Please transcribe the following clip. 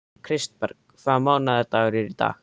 Kristberg, hvaða mánaðardagur er í dag?